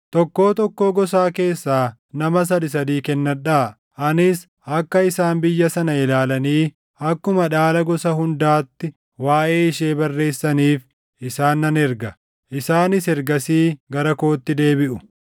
Tokkoo tokkoo gosaa keessaa nama sadii sadii kennadhaa. Anis akka isaan biyya sana ilaalanii akkuma dhaala gosa hundaatti waaʼee ishee barreessaniif isaan nan erga. Isaanis ergasii gara kootti deebiʼu.